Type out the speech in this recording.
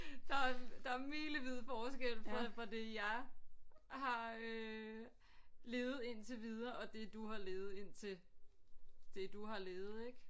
Der er der er milevid forskel på fra det jeg har øh levet indtil videre og det du har levet indtil det du har levet ik